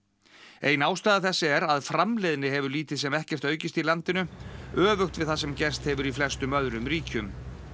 ein ástæða þessa er að framleiðni hefur lítið sem ekkert aukist í landinu öfugt við það sem gerst hefur í flestum öðrum ríkjum